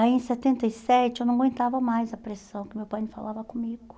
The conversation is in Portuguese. Aí em setenta e sete eu não aguentava mais a pressão que meu pai não falava comigo.